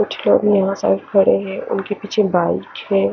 कुछ लोग यहाँ सेल्फ कर रहे हे उनके पीछे बाइक हैं।